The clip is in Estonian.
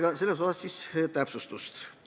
Ta palus seda täpsustada.